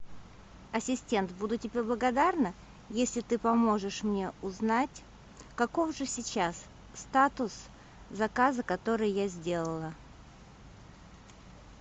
ассистент буду тебе благодарна если ты поможешь мне узнать каков же сейчас статус заказа который я сделала